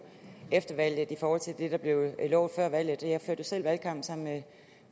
efter valget i forhold til det der blev lovet før valget jeg førte selv valgkamp sammen med